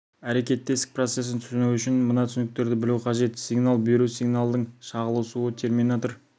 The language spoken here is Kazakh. әрекеттестік процесін түсіну үшін мына түсініктерді білу қажет сигнал беру сигналдың шағылысуы терминатор